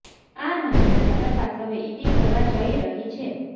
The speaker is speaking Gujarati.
આ મામલાની તપાસ હવે ઈડી કરવા જઇ રહી છે